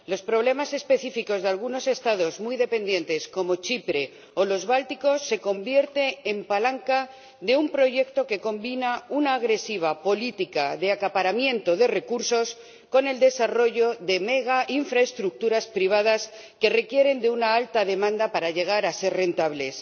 Los problemas específicos de algunos Estados muy dependientes como Chipre o los Bálticos se convierten en palanca de un proyecto que combina una agresiva política de acaparamiento de recursos con el desarrollo de megainfraestructuras privadas que requieren de una alta demanda para llegar a ser rentables.